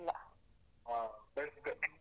ಹ best.